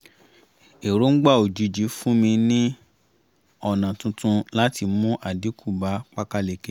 èròǹgba òjijì fún mi niń ọ̀nà tuntun láti mú àdínkù bá pákáleke